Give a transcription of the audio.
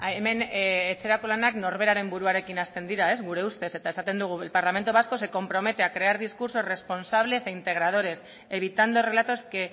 hemen etxerako lanak norberaren buruarekin hasten dira gure ustez eta esaten dugu el parlamento vasco se compromete a crear discursos responsables e integradores evitando relatos que